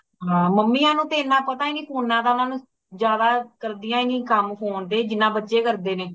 ਹਾ mummy ਨੂੰ ਏਨਾ ਪਤਾ ਨਹੀਂ phone ਦਾ ਉਨ੍ਹਾਂਨੂੰ ਜ਼ਿਆਦਾ ਕਰਦਿਆਂ ਨਹੀਂ ਕਾਮ phone ਤੇ, ਜਿਨ੍ਹਾਂ ਬੱਚੇ ਕਰਦੇ ਨੇ।